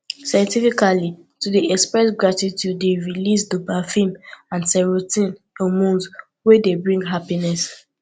scientifically to de express gratitude de release dopafin and serotin hormones wey de bring happiness